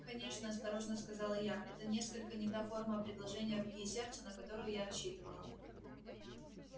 конечно осторожно сказала я это несколько не та форма предложения руки и сердца на которую я рассчитывала